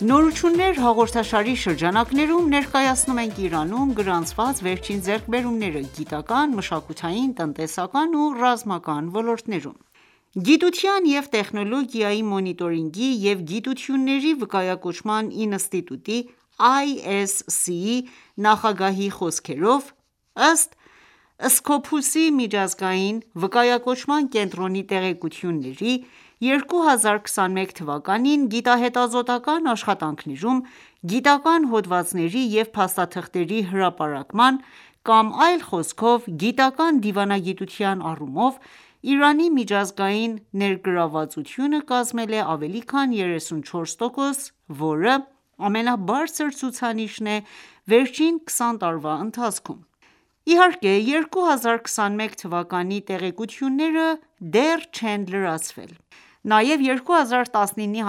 Նորություններ հաղորդաշարի շրջանակներում ներկայացնում ենք Իրանում գրանցված վերջին ձեռքբերումները՝ գիտական, մշակութային, տնտեսական ու ռազմական ոլորտներում: Գիտության և տեխնոլոգիայի մոնիտորինգի և գիտությունների վկայակոչման ինստիտուտի (ISC)-ի նախագահի խոսքերով, ըստ Scopus -ի միջազգային վկայակոչման կենտրոնի տեղեկությունների, 2021թվականին, գիտահետազոտական ​​աշխատանքներում՝ գիտական ​​հոդվածների և փաստաթղթերի հրապարակման, կամ այլ խոսքով գիտական ​​դիվանագիտության առումով, Իրանի միջազգային ներգրավվածությունը կազմել է ավելի քան 34 տոկոս, որը ամենաբարձր ցուցանիշն է վերջին 20 տարվա ընթացքում։ Իհարկե, 2021 թվականի տեղեկությունները դեռ չեն լրացվել։ Նաև 2019-ի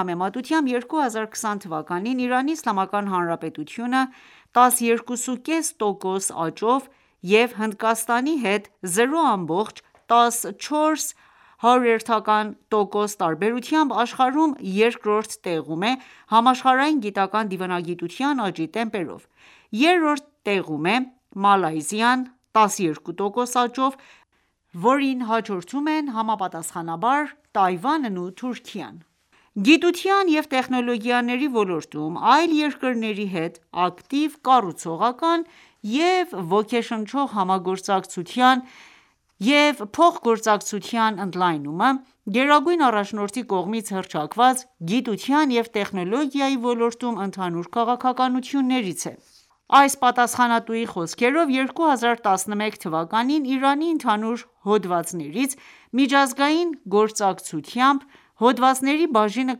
համեմատությամբ,2020թվականին, Իրանի Իսլամական Հանրապետությունը 12.5 տոկոս աճով և Հնդկաստանի հետ 0.14 տոկոս տարբերությամբ աշխարհում երկրորդ տեղում է համաշխարհային գիտական ​​դիվանագիտության աճի տեմպերով։ Երրորդ տեղում է Մալայզիան՝ 12% աճով, որին հաջորդում են համապատասխանաբար Թայվանն ու Թուրքիան։ Գիտության և տեխնոլոգիաների ոլորտում այլ երկրների հետ ակտիվ, կառուցողական և ոգեշնչող համագործակցության և փոխգործակցության ընդլայնումը, Գերագույն առաջնորդի կողմից հռչակված գիտության և տեխնոլոգիայի ոլորտում ընդհանուր քաղաքականություններից է։ Այս պատասխանատուի խոսքերով, 2011 թվականին Իրանի ընդհանուր հոդվածներից ,միջազգային գործակցությամբ հոդվածների բաժինը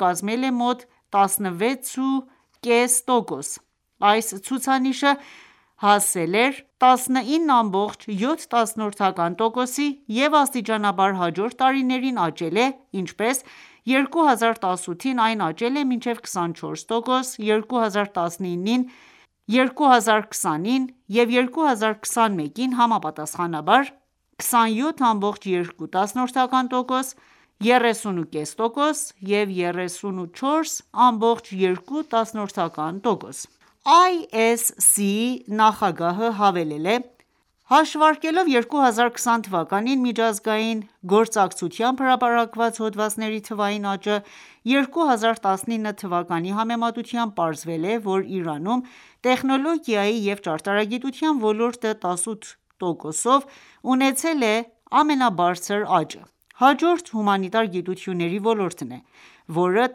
կազմել է մոտ 16.5%:Այս ցուցանիշը 2016-ին հասել էր 19.7%-ի և աստիճանաբար հաջորդ տարիներին աճել է,ինչպես՝ 2018-ին այն աճել է մինչև 24%, 2019-ին, 2020-ին և 2021-ին՝ համապատասխանաբար ՝ 27.2%, 30.5% և 34.2%։ ISC-ի նախագահը հավելել է.«Հաշվարկելով 2020 թվականին միջազգային գործակցությամբ հրապարակված հոդվածների թվային աճը ՝2019 թվականի համեմատությամբ, պարզվել է, որ Իրանում տեխնոլոգիայի և ճարտարագիտության ոլորտը՝18%-ով ունեցել է ամենաբարձր աճը:Հաջորդը ՝ հումանիտար գիտությունների ոլորտն է, որը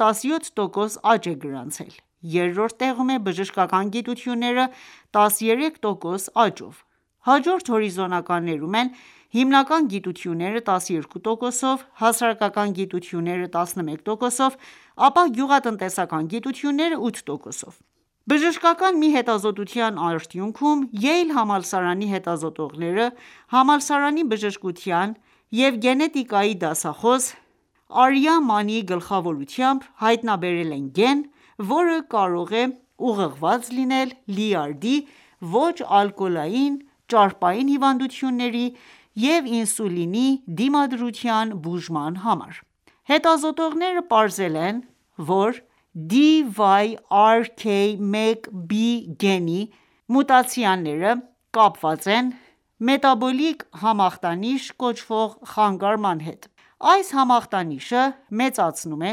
17 տոկոս աճ է գրանցել:Երրորդ տեղում է՝բժշկական գիտությունները, 13% աճով։ Հաջորդ հորիզոնականներում են՝ հիմնական գիտությունները՝ 12% -ով, հասարակական գիտությունները՝ 11%-ով, ապա գյուղատնտեսական գիտությունները՝ 8%-ով։ Բժշկական մի հետազոտության արդյունքում ,Յեյլի համալսարանի հետազոտողները՝ համալսարանի բժշկության և գենետիկայի դասախոս՝ Արիա Մանիի գլխավորությամբ, հայտնաբերել են գեն, որը կարող է ուղղված լինել լյարդի ոչ ալկոհոլային ճարպային հիվանդությունների և ինսուլինի դիմադրության բուժման համար:Հետազոտողները պարզել են, որ Dyrk1b գենի մուտացիաները կապված են մետաբոլիկ համախտանիշ կոչվող խանգարման հետ:Այս համախտանիշը մեծացնում է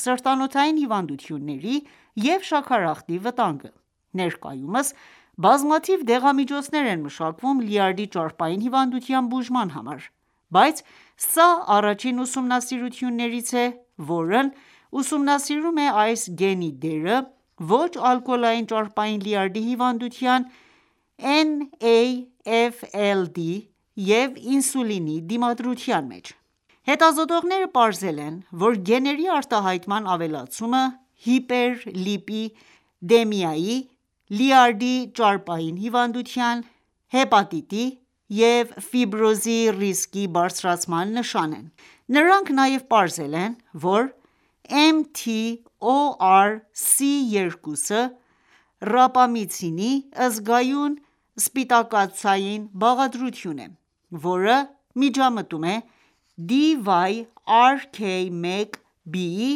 սրտանոթային հիվանդությունների և շաքարախտի վտանգը։ Ներկայումս, բազմաթիվ դեղամիջոցներ են մշակվում լյարդի ճարպային հիվանդության բուժման համար:Բայց սա առաջին ուսումնասիրություններից է, որն ուսումնասիրում է այս գենի դերը ոչ ալկոհոլային ճարպային լյարդի հիվանդության (NAFLD) և ինսուլինի դիմադրության մեջ: Հետազոտողները պարզել են, որ գեների արտահայտման ավելացումը հիպեր լիպի դեմիայի, լյարդի ճարպային հիվանդության, հեպատիտի և ֆիբրոզի ռիսկի բարձրացման նշան է:Նրանք նաև պարզել են, որ mTORC2-ը՝ ռապա միցինին զգայուն սպիտակուցային բաղադրություն է,որը միջամտում է Dyrk1b-ի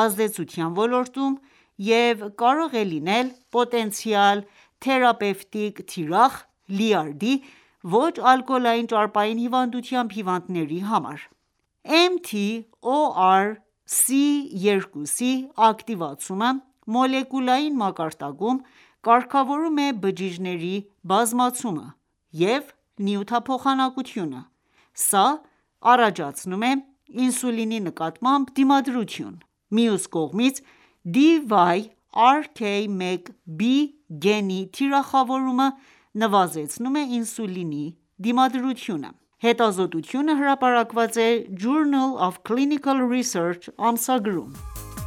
ազդեցության ոլորտում և կարող է լինել պոտենցիալ թերապևտիկ թիրախ, լյարդի ոչ ալկոհոլային ճարպային հիվանդությամբ հիվանդների համար:mTORC2-ի ակտիվացումը մոլեկուլային մակարդակում կարգավորում է բջիջների բազմացումը և նյութափոխանակությունը:Սա առաջացնում է ինսուլինի նկատմամբ դիմադրություն:Մյուս կողմից, Dyrk1b գենի թիրախավորումը նվազեցնում է ինսուլինի դիմադրությունը: Հետազոտությունը հրապարակված է Journal of Clinical Research ամսագրում: Իրանցի հետազոտողի միջոցով և Յեյլի համալսարանի հետազոտողների հետ համատեղ հայտնաբերվել է ճարպային լյարդի հիվանդության ազդեցիկ գենը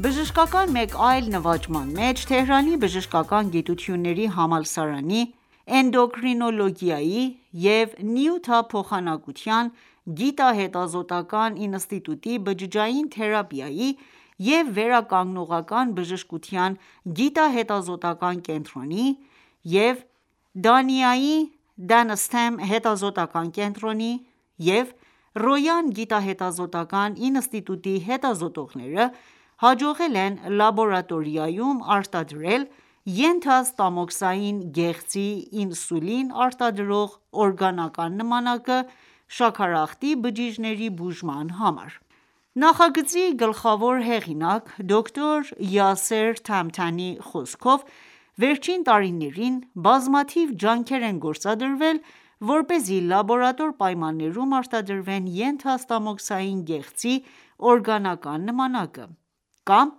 Բժշկական մեկ այլ նվաճման մեջ՝ Թեհրանի բժշկական գիտությունների համալսարանի Էնդոկրին ոլոգիայի և նյութափոխանակության գիտահետազոտական ​​ինստիտուտի բջջային թերապիայի և վերականգնողական բժշկության գիտահետազոտական ​​կենտրոնի և Դանիայի DanStem հետազոտական ​​կենտրոնի և Ռոյան գիտահետազոտական ​​ինստիտուտի հետազոտողները, հաջողել են լաբորատորիայում արտադրել՝ ենթաստամոքսային գեղձի ինսուլին արտադրող օրգանական նմանակը ՝ շաքարախտի բջիջների բուժման համար: Նախագծի գլխավոր հեղինակ դոկտոր Յասեր Թահմտանիի խոսքով, վերջին տարիներին բազմաթիվ ջանքեր են գործադրվել, որպեսզի լաբորատոր պայմաններում արտադրվեն՝ ենթաստամոքսային գեղձի օրգանական նմանակը, կամ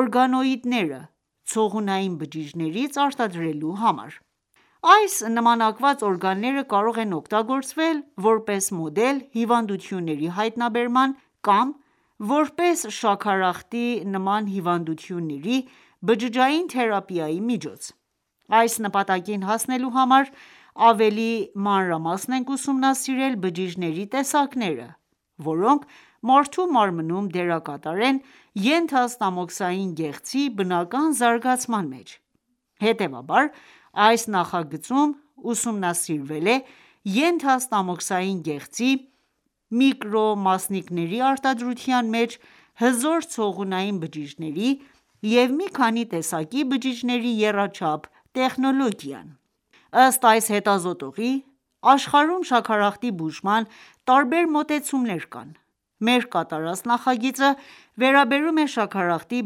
օրգանոիդները ՝ցողունային բջիջներից արտադրելու համար:Այս նմանակված օրգանները կարող են օգտագործվել, որպես մոդել՝հիվանդությունների հայտնաբերման ,կամ որպես շաքարախտի նման հիվանդությունների բջջային թերապիայի միջոց:Այս նպատակին հասնելու համար ,ավելի մանրամասն ենք ուսումնասիրել բջիջների տեսակները, որոնք մարդու մարմնում դերակատր են ՝ենթաստամոքսային գեղձի բնական զարգացման մեջ :Հետևաբար, այս նախագծում ուսումնասիրվել է ենթաստամոքսային գեղձի միկրոմասնիկների արտադրության մեջ հզոր ցողունային բջիջների և մի քանի տեսակի բջիջների եռաչափ տեխնոլոգիան։ Ըստ այս հետազոտողի՝ աշխարհում շաքարախտի բուժման տարբեր մոտեցումներ կան։ Մեր կատարած նախագիծը վերաբերում է շաքարախտի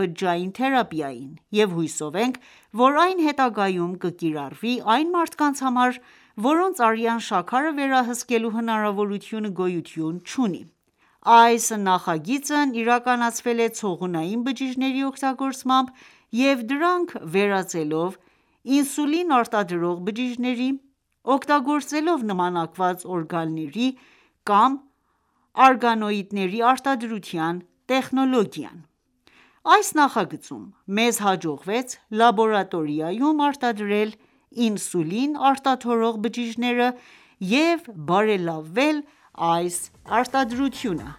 բջջային թերապիային, և հուսով ենք, որ այն հետագայում կկիրառվի այն մարդկանց համար, որոնց արյան շաքարը վերահսկելու հնարավորությունը գոյություն չունի: Այս նախագիծն իրականացվել է ցողունային բջիջների օգտագործմամբ և դրանք վերածելով ինսուլին արտադրող բջիջների՝ օգտագործելով նմանակված օրգանների կամ արգանոիդների արտադրության տեխնոլոգիան:Այս նախագծում մեզ հաջողվեց լաբորատորիայում արտադրել ինսուլին արտաթորող բջիջները և բարելավել այս արտադրությունը: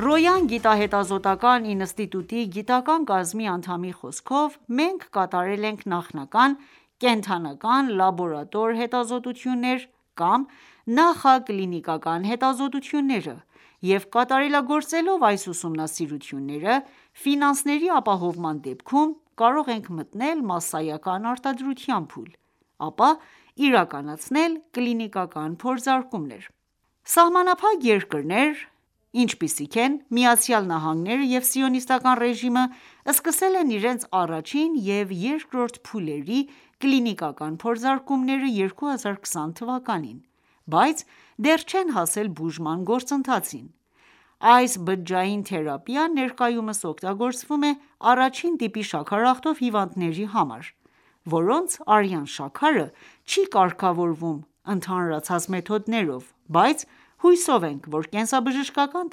«Ռոյան» գիտահետազոտական ​​ինստիտուտի գիտական կազմի անդամի խոսքով, մենք կատարել ենք նախնական կենդական- լաբորատոր հետազոտություններ կամ նախակլինիկական հետազոտությունները և կատարելագործելով այս ուսումնասիրությունները, ֆինանսների ապահովման դեպքում, կարող ենք մտնել մասսայական արտադրության փուլ, ,ապա իրականացնել կլինիկական փորձարկումներ:Սահմանափակ երկրներ, ինչպիսիք են՝ ԱՄՆ-ը և սիոնիստական ​​ռեժիմը, սկսել են իրենց առաջին և երկրորդ փուլերի կլինիկական փորձարկումները 2020 թվականին, բայց դեռ չեն հասել բուժման գործընթացին:Այս բջջային թերապիան ներկայումս օգտագործվում է առաջին տիպի շաքարախտով հիվանդների համար, որոնց արյան շաքարը չի կարգավորվում ընդհանրացած մեթոդներով, բայց հուսով ենք, որ կենսաբժշկական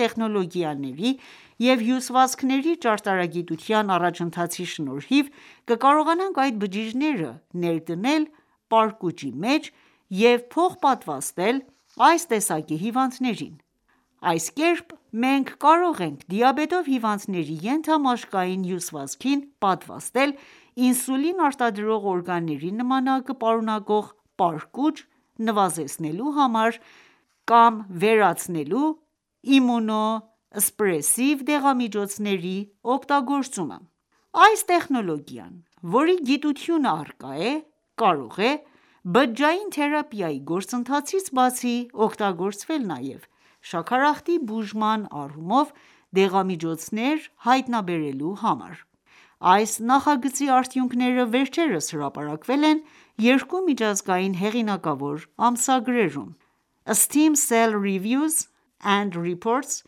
տեխնոլոգիաների և հյուսվածքների ճարտարագիտության առաջընթացի շնորհիվ, կկարողանանք այդ բջիջները ներդնել պարկուճի մեջ և փոխպատվաստել այս տեսակի հիվանդներին:Այս կերպ մենք կարող ենք դիաբետով հիվանդների ենթամաշկային հյուսվածքին պատվաստել ինսուլին արտազատող օրգանների նմանակը պատունակող պարկուճ՝ նվազեցնելու կամ վերացնելու իմունո սպրեսիվ դեղամիջոցների օգտագործումը։ Այս տեխնոլոգիան ,որի գիտությունը առկա է, կարող էբջջային թերապիայի գործընթացից բացի, օգտագործվել նաև շաքարախտի բուժման առումով դեղամիջոցներ հայտնաբերելու համար: Այս նախագծի արդյունքները վերջերս հրապարակվել են երկու միջազգային հեղինակավոր ամսագրերում՝ Stem Cell Reviews and Reports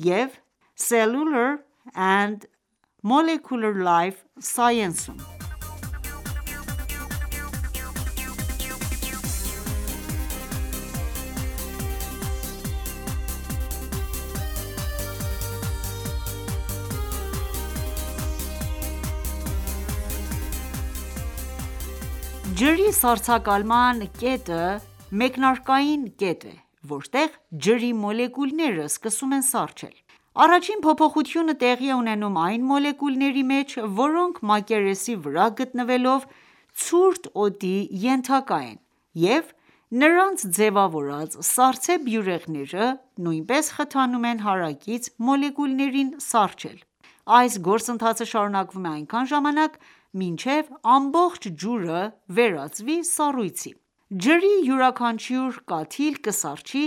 եւ Cellular and Molecular Life Sciences-ում: Ինսուլին արտադրող՝ենթաստամոքսային գեղձի նմանակված-օրգանների արտադրությունը Ջրի սառցակալման կետը մեկնարկային կետն է, որտեղ ջրի մոլեկուլները սկսում են սառչել:Առաջին փոփոխությունը տեղի է ունենում այն մոլեկուլների մեջ, որոնք մակերեսի վրա գտնվելով ցուրտ օդի ենթակա են և նրանց ձևավորած սառցե բյուրեղները, նույնպես խթանում են հարակից մոլեկուլներին սառչել:Այս գործընթացը շարունակվում է այնքան ժամանակ, մինչև ամբողջ ջուրը վերածվի սառույցի:Ջրի յուրաքանչյուր կաթիլ կսառչի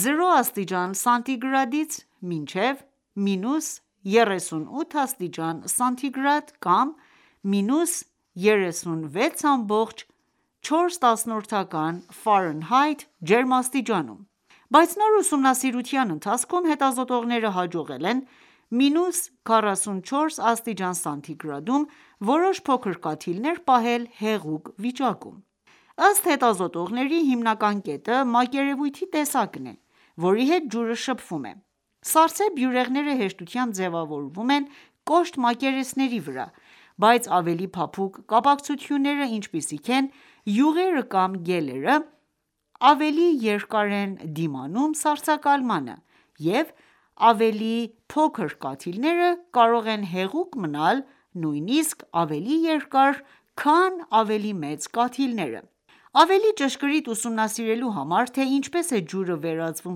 0°C-մինչև -38°C կամ (-36.4°F) ջերմաստիճանում:Բայց նոր ուսումնասիրության ընթացքում հետազոտողները հաջողել են -44 °C-ում որոշ փոքր կաթիլներ պահել հեղուկ վիճակում: Ըստ հետազոտողների ,հիմնական կետը, մակերևույթի տեսակն է, որի հետ ջուրը շփվում է: Սառցե բյուրեղները հեշտությամբ ձևավորվում են կոշտ մակերեսների վրա, բայց ավելի փափուկ կապակցությունները, ինչպիսիք են ՝յուղերը կամ գելերը, ավելի երկար են դիմանում սառցակալմանը և ավելի փոքր կաթիլները կարող են հեղուկ մնալ նույնիսկ ավելի երկար, քան ավելի մեծ կաթիլները:Ավելի ճշգրիտ ուսումնասիրելու համար, թե ինչպես է ջուրը վերածվում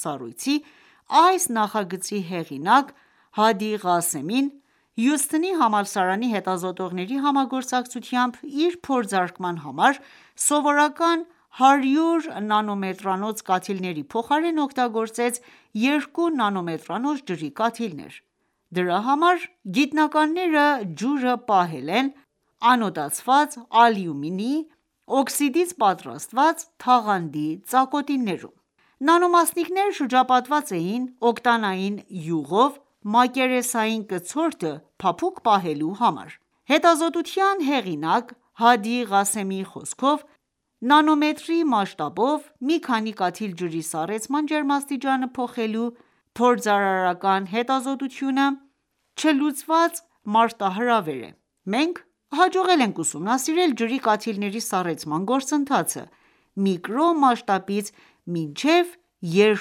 սառույցի, այս նախագծի հեղինակ Հադի Ղասեմին ,Հյուսթոնի համալսարանի հետազոտողների համագործակցությամբ ,իր փորձարկման համար, սովորական 100 նանոմետրանոց կաթիլների փոխարեն օգտագործեց երկու նանոմետրանոց ջրի կաթիլներ:Դրա համար գիտնականները ջուրը պահել են ՝ անոդացված ալյումինի օքսիդից պատրաստված թաղանթի ծակոտիներում: Նանո մասնիկները շրջապատված էին օկտանային յուղով՝ մակերեսային կցորդը «փափուկ» պահելու համար։ Հետազոտության հեղինակ Հադի Ղասեմիի խոսքով, նանոմետրի մասշտաբով մի քանի կաթիլ ջրի սառեցման ջերմաստիճանը փոխելու փորձարարական հետազոտությունը չլուծված մարտահրավեր է, մենք հաջողել ենք ուսումնասիրել ջրի կաթիլների սառեցման գործընթացը միկրոն մասշտաբից մինչև 2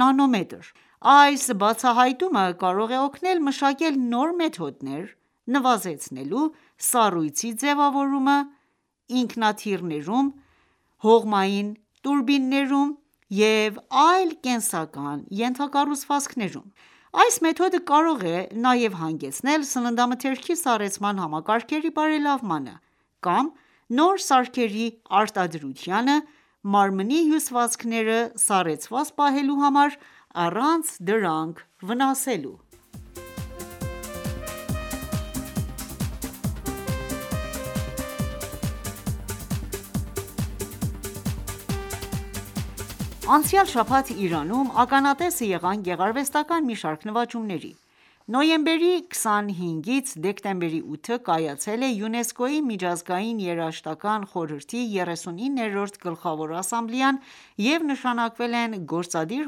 նանոմետր:Այս բացահայտումը կարող է օգնել մշակել նոր մեթոդներ՝ նվազեցնելու սառույցի ձևավորումը ինքնաթիռներում հողմային տուրբիններում և այլ կենսական ենթակառուցվածքներում:Այս մեթոդը կարող է նաև հանգեցնել սննդամթերքի սառեցման համակարգերի բարելավմանը կամ նոր սարքերի արտադրությանը՝ մարմնի հյուսվածքները սառեցված պահելու համար՝ առանց դրանք վնասելու: Իրանցի հետազոտողը ջուրը հեղուկ է պահել սառցակալման կետից ցածր Անցյալ շաբաթ Իրանում ականատեսը եղանք գեղարվեստական ​​մի շարք նվաճումների։ Նոյեմբերի 25-ից դեկտեմբերի 8-ը կայացել է ՅՈՒՆԵՍԿՕ-ի միջազգային երաժշտական ​​խորհրդի 39-րդ Գլխավոր ասամբլեան, և նշանակվել են գործադիր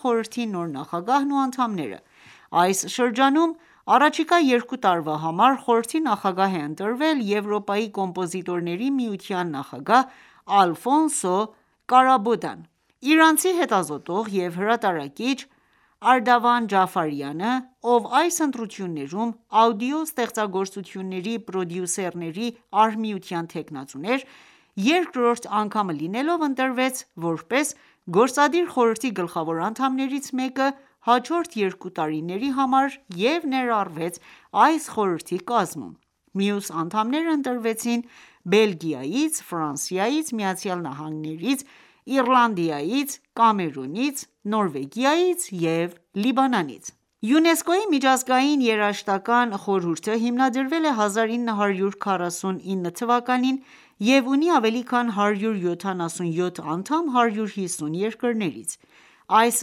խորհրդի նոր նախագահն ու անդամները։ Այս շրջանում, առաջիկա երկու տարվա համար խորհրդի նախագահ է ընտրվել Եվրոպայի կոմպոզիտորների միության նախագահ Ալֆոնսո Կարաբոդան:Իրանցի հետազոտող և հրատարակիչ Արդավան Ջաֆարյանը, ով այս ընտրություններում աուդիո ստեղծագործությունների պրոդյուսերների արհմիության թեկնածու էր, երկրորդ անգամը լինելով ընտրվեց, որպես Գործադիր խորհրդի գլխավոր անդամներից մեկը հաջորդ երկու տարիների համար և ներառվեց այս խորհրդի կազմում։ Մյուս անդամները ընտրվեցին Բելգիայից, Ֆրանսիայից, ԱՄՆ-ից, Իռլանդիայից, Կամերունից, Նորվեգիայից և Լիբանանից։ ՅՈՒՆԵՍԿՕ-ի միջազգային երաժշտական ​​խորհուրդը հիմնադրվել է 1949 թվականին և ունի ավելի քան 177 անդամ 150 երկրներից։ Այս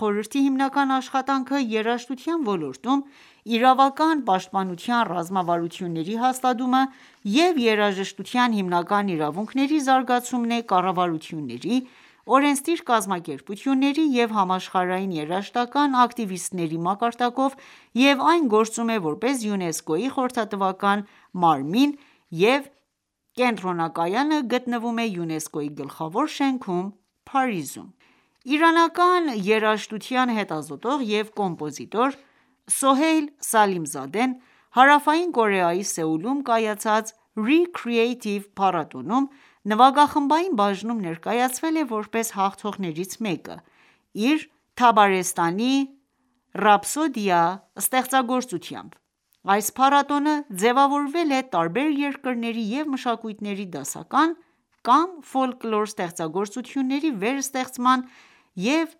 խորհրդի հիմնական աշխատանքը՝ երաժշտության ոլորտում իրավական պաշտպանության ռազմավարությունների հաստատումը և երաժշտության հիմնական իրավունքների զարգացումն է՝ կառավարությունների, օրենսդիր կազմակերպությունների և համաշխարհային երաժշտական ​​ակտիվիստների մակարդակով և այն գործում է, որպես ՅՈՒՆԵՍԿՕ-ի խորհրդատվական մարմին և կենտրոնակայանը գտնվում է ՅՈՒՆԵՍԿՕ-ի գլխավոր շենքում՝ Փարիզում: Իրանական երաժշտության հետազոտող և կոմպոզիտոր Սոհեյլ Սալիմզադեն ,Հարավային Կորեայի Սեուլում կայացած Re-Creative փառատոնում նվագախմբային բաժնում ներկայացվել է որպես հաղթողներից մեկը՝ իր «Թաբարեստանի ռապսոդիա» ստեղծագործությամբ։ Այս փառատոնը ձևավորվել է տարբեր երկրների և մշակույթների դասական կամ ֆոլկլոր ստեղծագործությունների վերստեղծման և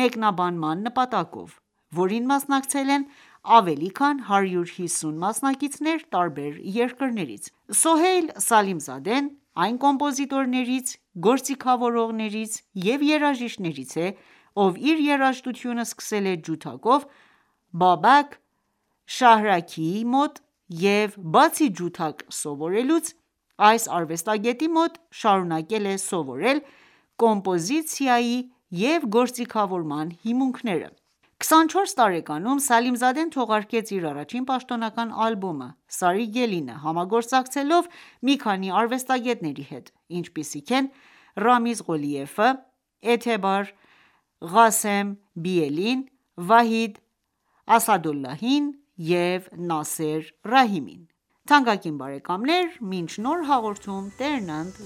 մեկնաբանման նպատակով, որին մասնակցել են ավելի քան 150 մասնակիցներ տարբեր երկրներից։ Սոհեյլ Սալիմզադեն այն կոմպոզիտորներից, գործիքավորողներից և երաժիշտներից է, ով իր երաժշտությունը սկսել է ջութակով Բաբակ Շահրաքիի մոտ և բացի ջութակ սովորելուց, այս արվեստագետի մոտ շարունակեց սովորել կոմպոզիցիայի և գործիքավորման հիմունքները։24 տարեկանում Սալիմզադեն թողարկեց իր առաջին պաշտոնական ալբոմը՝ «Սարի Գելին»-ը՝ համագործակցելով մի քանի արվեստագետների հետ, ինչպիսիք են՝ Ռամիզ Ղոլիևը, Էըթեբար Ղասեմբիելին, Վահիդ Ասադոլլահին և Նասեր Ռահիմին։ Թանկագին բարեկամներ, մինչ նոր հաղորդում Տերն ընդ